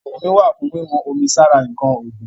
Kánù omi wà fún wíwọ́n omi sára ǹkan ọ̀gbìn.